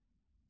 Qaymaq.